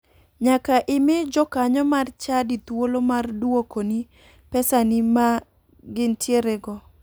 Nyaka imi jokanyo mar chadi thuolo mar duokoni pesani ma gintierego.